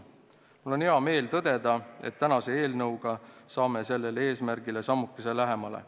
Mul on hea meel tõdeda, et tänase eelnõuga saame sellele eesmärgile sammukese lähemale.